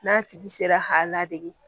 N'a tigi sera k'a ladege